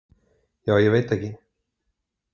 Ja, ég veit ekki.